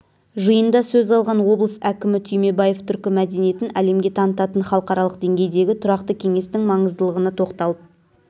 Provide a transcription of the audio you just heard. жиында сөз алған облыс әкімі түймебаев түркі мәдениетін әлемге танытатын халықаралық деңгейдегі тұрақты кеңестің маңыздылығына тоқталып